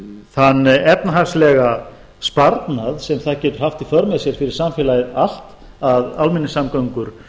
þann efnahagslega sparnað sem það getur haft í för með sér fyrir samfélagið allt að almenningssamgöngur